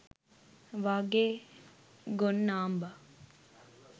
වාගේ ගොන් නාම්බා